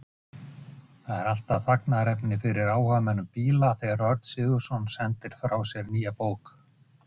Já, þetta er öðruvísi fólk.